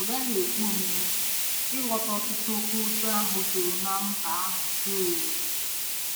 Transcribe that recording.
Ọ gaghị ekwe omume ịghọta ọ̀tụ̀tụ̀ oké ụjọ ahụ juru na mba ahụ dum......